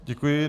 Děkuji.